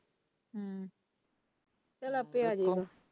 ਹਮ ਚੱਲ ਆਪੇ ਆ ਜਾਏ ਉਹ।